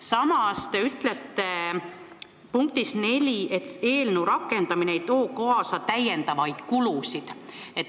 Samas te ütlete punktis 4, et eelnõu rakendamine ei too kaasa täiendavaid kulusid.